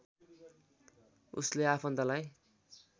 उसले आफन्तलाई